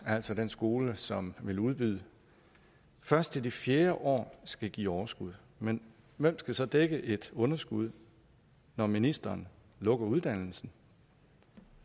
altså den skole som vil udbyde først i det fjerde år skal give overskud men hvem skal så dække et underskud når ministeren lukker uddannelsen